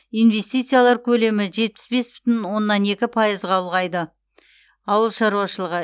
инвестициялар көлемі жетпіс бес бүтін оннан екі пайызға ұлғайды ауыл шаруашылығы